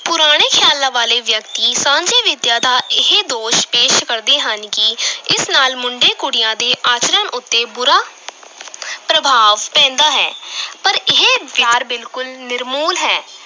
ਪੁਰਾਣੇ ਖ਼ਿਆਲਾਂ ਵਾਲੇ ਵਿਅਕਤੀ ਸਾਂਝੀ ਵਿੱਦਿਆ ਦਾ ਇਹ ਦੋਸ਼ ਪੇਸ਼ ਕਰਦੇ ਹਨ ਕਿ ਇਸ ਨਾਲ ਮੁੰਡੇ ਕੁੜੀਆਂ ਦੇ ਆਚਰਣ ਉੱਤੇ ਬੁਰਾ ਪ੍ਰਭਾਵ ਪੈਂਦਾ ਹੈ ਪਰ ਇਹ ਬਿਲਕੁਲ ਨਿਰਮੂਲ ਹੈ।